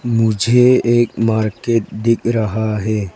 मुझे एक मार्केट दिख रहा है।